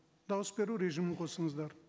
дауыс беру режимін қосыңыздар